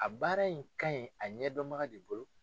A baara in ka ɲi a ɲɛdɔnbaga de bolo.